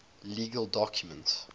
legal documents